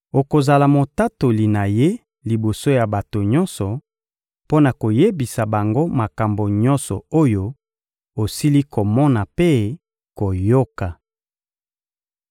Okozala motatoli na Ye liboso ya bato nyonso, mpo na koyebisa bango makambo nyonso oyo osili komona mpe koyoka.